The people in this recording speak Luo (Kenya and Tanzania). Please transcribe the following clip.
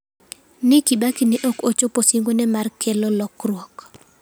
Ni Kibaki ne ok ochopo singone mar kelo lokruok.